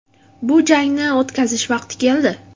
Bu jangni o‘tkazish vaqti keldi.